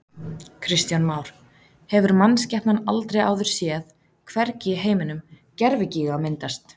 Kristján Már: Hefur mannskepnan aldrei áður séð, hvergi í heiminum, gervigíga myndast?